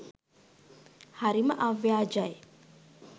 හරිම අව්‍යාජයි